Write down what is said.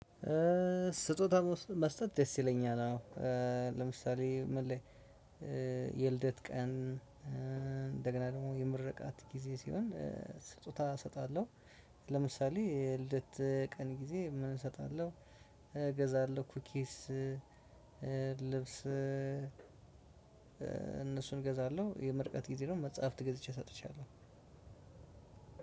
ስጦታ መስጠት ደስ ይለኛል። አዎ ለምሳሌ ምን ላይ? የልደት ቀን እንደገና ደግሞ የምርቃት ጊዜ ሲሆን ስጦታ እሰጣለሁ። ለምሳሌ ልደት ቀን ጊዜ ምን እሰጣለሁ እገዛለሁ ኩኪስ። ልብስ እነሱን እገዛለሁ የምርቃት ጊዜ ነው መጽሐፍት ገዝቼ ሰጥቻለሁ።